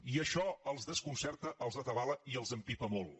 i això els desconcerta els atabala i els empipa molt